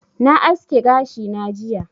Na aske gashi na jiya